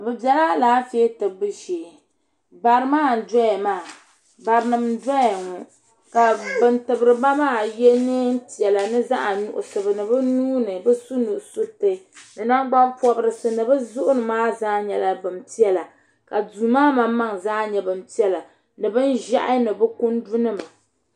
bi biɛla Alaafee tibbu shee bari maa n doya maa bari nim n doya ŋɔ ka bin tibiriba maa yɛ neen piɛla ni ni zaɣ nuɣsi ka bi nuuni bi su nusuriti ni nangbani pobirisi ni bi zuɣuni maa zaa nyɛla bin piɛla ka duu maa maŋmaŋ zaa nyɛ bin piɛla ni bin ʒiɛhi ni bi kundu nima